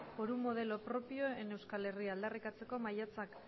por un modelo propio en euskal herria aldarrikatzeko maiatzak